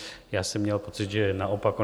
Já jsem měl pocit, že naopak.